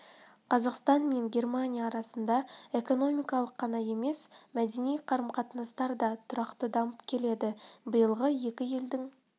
қазақстан мен германия арасында экономикалық қана емес мәдени қарым-қатынастар да тұрақты дамып келеді биылғы екі елдің